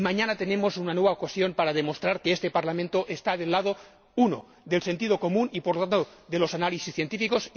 Y mañana tenemos una nueva ocasión para demostrar que este Parlamento está del lado 1 del sentido común, y por tanto de los análisis científicos